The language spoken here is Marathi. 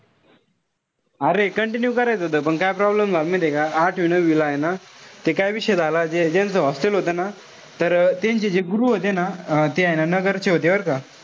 अरे continue करायचं होत पण काय problem झाला माहितीय का. आठवी-नववीला ए ना ते काय विषय झाला जे ज्यांचं hostel होत ना. तर त्यांचे जे गुरु होते ना अं ते हाये ना नगरचे होते बरं का.